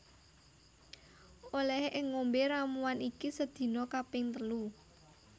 Olehe ngombe ramuan iki sedina kaping telu